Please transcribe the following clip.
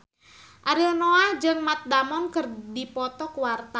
Ariel Noah jeung Matt Damon keur dipoto ku wartawan